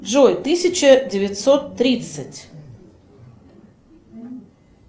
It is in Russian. джой тысяча девятьсот тридцать